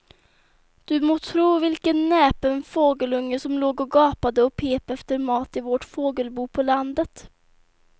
Du må tro vilken näpen fågelunge som låg och gapade och pep efter mat i vårt fågelbo på landet.